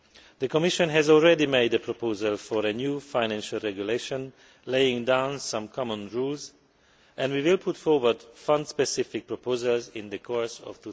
The Commission has already made a proposal for a new financial regulation laying down some common rules and we will put forward some specific proposals in the course of